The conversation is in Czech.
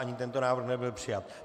Ani tento návrh nebyl přijat.